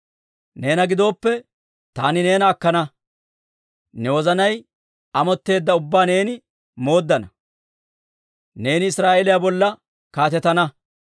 « ‹Neena gidooppe, taani neena akkana; ne wozanay amotteedda ubbaa neeni mooddana; neeni Israa'eeliyaa bolla kaatetana.